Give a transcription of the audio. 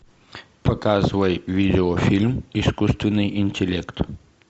показывай видеофильм искусственный интеллект